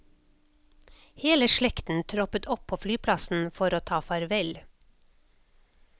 Hele slekten troppet opp på flyplassen for å ta farvel.